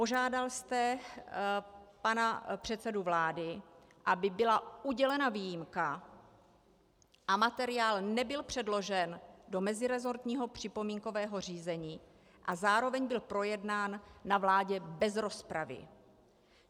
Požádal jste pana předsedu vlády, aby byla udělena výjimka, a materiál nebyl předložen do meziresortního připomínkového řízení a zároveň byl projednán na vládě bez rozpravy.